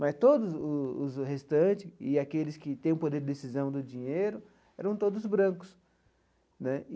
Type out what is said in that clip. Mas todos os os restantes, e aqueles que têm o poder de decisão do dinheiro, eram todos brancos né.